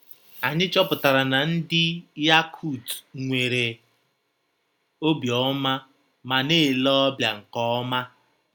Anyị chọpụtara na ndị Yakut nwere obiọma ma na - ele ọbịa nke ọma